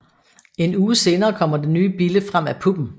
En uge senere kommer den nye bille frem af puppen